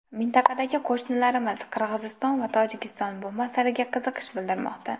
Mintaqadagi qo‘shnilarimiz Qirg‘iziston va Tojikiston bu masalaga qiziqish bildirmoqda.